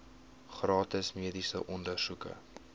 gratis mediese ondersoeke